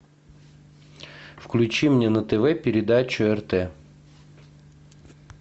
включи мне на тв передачу рт